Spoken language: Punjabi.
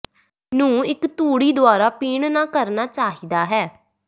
ਨੂੰ ਇੱਕ ਤੂੜੀ ਦੁਆਰਾ ਪੀਣ ਨਾ ਕਰਨਾ ਚਾਹੀਦਾ ਹੈ